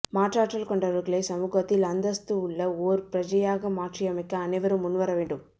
மாற்றாற்றல் கொண்டவர்களை சமூகத்தில் அந்தஸ்து உள்ள ஓர் பிரஜையாக மாற்றியமைக்க அனைவரும் முன் வர வேண்டும்